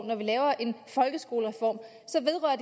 når vi laver en folkeskolereform så vedrører